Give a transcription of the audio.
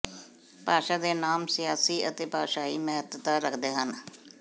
ਭਾਸ਼ਾ ਦੇ ਨਾਮ ਸਿਆਸੀ ਅਤੇ ਭਾਸ਼ਾਈ ਮਹੱਤਤਾ ਰੱਖਦੇ ਹਨ